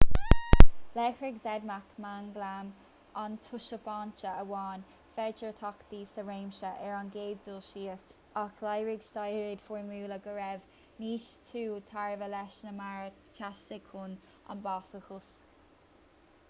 léirigh zmapp manglam antashubstainte amháin féidearthachtaí sa réimse ar an gcéad dul síos ach léirigh staidéir fhoirmiúla go raibh níos lú tairbhe leis ná mar a theastaigh chun an bás a chosc